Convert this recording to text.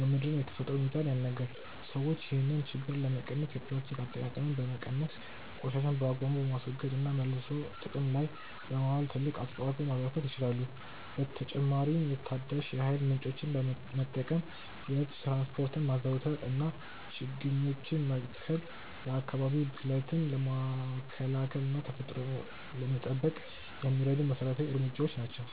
የምድርን የተፈጥሮ ሚዛን ያናጋል። ሰዎች ይህንን ችግር ለመቀነስ የፕላስቲክ አጠቃቀምን በመቀነስ፣ ቆሻሻን በአግባቡ በማስወገድ እና መልሶ ጥቅም ላይ በማዋል ትልቅ አስተዋጽኦ ማበርከት ይችላሉ። በተጨማሪም ታዳሽ የኃይል ምንጮችን መጠቀም፣ የህዝብ ትራንስፖርትን ማዘውተር እና ችግኞችን መትከል የአካባቢ ብክለትን ለመከላከል እና ተፈጥሮን ለመጠበቅ የሚረዱ መሰረታዊ እርምጃዎች ናቸው።